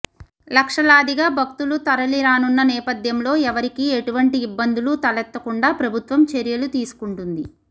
లక్షలాదిగా భక్తులు తరలిరానున్న నేపథ్యంలో ఎవరికీ ఎటువంటి ఇబ్బందులు తలెత్తకుండా ప్రభుత్వం చర్యలు తీసుకుంటుంది